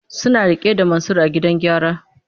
Suna rike da Mansur a gidan gyara.